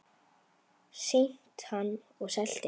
Sýnt hann og selt inn.